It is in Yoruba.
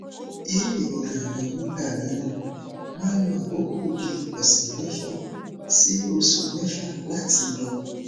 iru irora yen nigba mìíràn ma n lo akoko bi ose mefa si osu mefa lati lo